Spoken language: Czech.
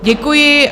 Děkuji.